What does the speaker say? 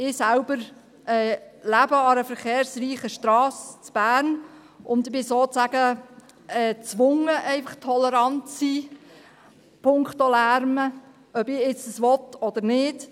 Ich lebe selber an einer verkehrsreichen Strasse in Bern, und ich bin sozusagen gezwungen, punkto Lärm tolerant zu sein, ob ich das nun will oder nicht.